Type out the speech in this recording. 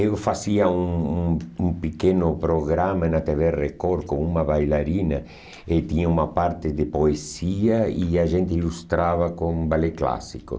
Eu fazia um um um pequeno programa na tê vê Record com uma bailarina e tinha uma parte de poesia e a gente ilustrava com balé clássico.